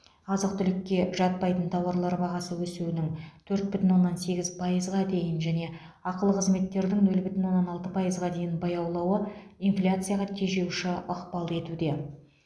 азық түлікке жатпайтын тауарлар бағасы өсуінің төрт бүтін оннан сегіз пайызға дейін және ақылы қызметтердің нөл бүтін оннан алты пайызға дейін баяулауы инфляцияға тежеуші ықпал етуде